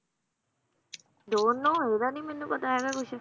Don't know ਏਦਾ ਨੀ ਮੈਨੂੰ ਪਤਾ ਹੈਗਾ ਕੁਛ